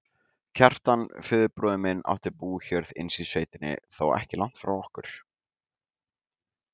Kjartan, föðurbróðir minn, átti bújörð innst í sveitinni, þó ekki langt frá okkur.